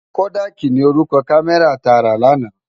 Kódàki ni órúkò kàmèrá tá rá làná